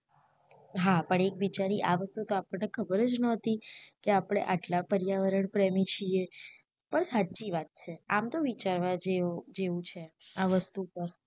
હા પણ એકબીજાની આ વાત તો ખબર જ નો હોતી કે આપને આટલા વાતાવરણ પ્રેમી છીએ પણ સાચી વાત છે આમ તો વિચારવા જેવુ જેવુ છે આ વસ્તુ પર